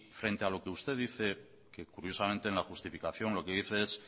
frente a lo que usted dice que curiosamente en la justificación lo que dice es